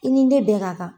I ni ne bɛ ka kan